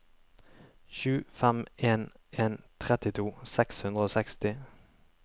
sju fem en en trettito seks hundre og seksti